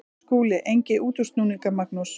SKÚLI: Enga útúrsnúninga, Magnús.